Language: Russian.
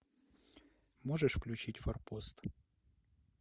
можешь включить форпост